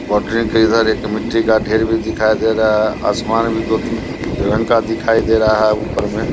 Boundary के इधर एक मिटी का ढेर भी दिखाई दे रहा हैं अ आसमान भी दो तीन रंग का दिखाई दे रहा है उपर में ।